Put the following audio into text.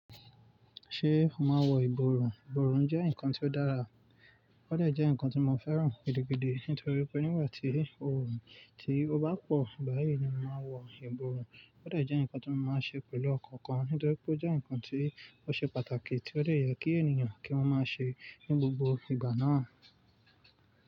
Ṣé o máa wọ ìborùn? Ìborùn jẹ́ nǹkan tí ó dára. Ó dà jẹ́ nǹkan tí mo fẹ́ràn gidi, nítorí pé nígbà tí oòrùn ti bá pọ̀, báyìí ni mo máa wọ ìborùn. Ó dà jẹ́ nǹkan tí mo máa ń ṣe pẹ̀lú ọkàn kan, nítorí pé ó jẹ́ nǹkan tí ó ṣe pàtàkì tí ó lè yẹ kí ènìyàn kí wọ́n máa ṣe ní gbogbo ìgbà náà.